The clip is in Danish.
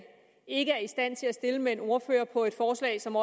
ikke er i stand til at stille med en ordfører på et forslag som